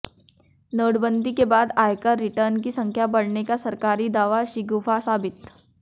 नोटबंदी के बाद आयकर रिटर्न की संख्या बढ़ने का सरकारी दावा शिगूफा साबित